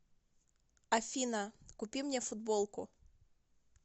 афина купи мне футболку